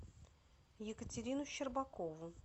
екатерину щербакову